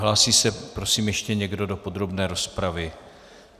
Hlásí se prosím ještě někdo do podrobné rozpravy?